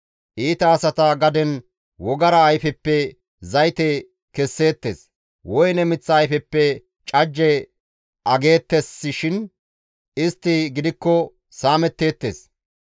Iita asata gaden wogara ayfeppe zayte kesseettes; woyne miththa ayfeppe cajje ageettesseshin istti gidikko saametteettes.